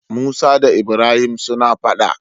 Musa da ibrahim suna faɗa